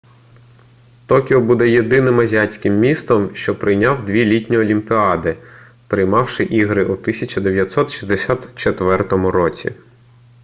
токіо буде єдиним азіатським містом що прийняв дві літні олімпіади приймавши ігри у 1964 році